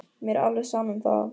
Mér er alveg sama um það.